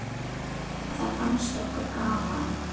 Það fannst okkur gaman.